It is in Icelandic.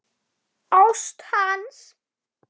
Ást hans.